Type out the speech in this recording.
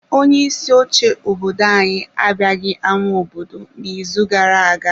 Onye isi oche obodo anyị abịaghị ámá obodo n'izu gara-aga.